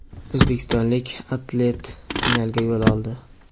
O‘zbekistonlik atlet finalga yo‘l oldi!.